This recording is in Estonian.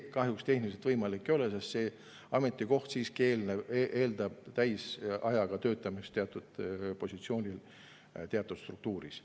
See kahjuks tehniliselt võimalik ei ole, sest see ametikoht siiski eeldab täisajaga töötamist teatud positsioonil teatud struktuuris.